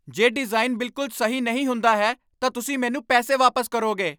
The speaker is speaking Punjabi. ਜੇ ਡਿਜ਼ਾਈਨ ਬਿਲਕੁਲ ਸਹੀ ਨਹੀਂ ਹੁੰਦਾ ਹੈ, ਤਾਂ ਤੁਸੀਂ ਮੈਨੂੰ ਪੈਸੇ ਵਾਪਸ ਕਰੋਗੇ।